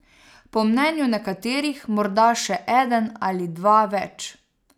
Po mnenju nekaterih morda še eden ali dva več.